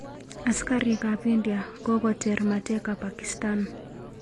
Askarik ap india kokoter mateka pakistan